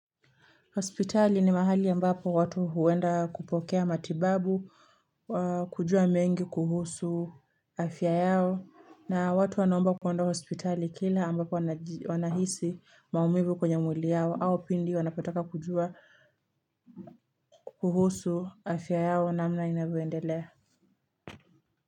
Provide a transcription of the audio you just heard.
Hospitali ni mahali ambapo watu huenda kupokea matibabu, kujua mengi kuhusu afya yao, na watu wanaomba kuenda hospitali kila ambapo wanaji wanahisi maumivu kwenye mwili yao, au pindi wanapataka kujua kuhusu afya yao namna inavyoendelea.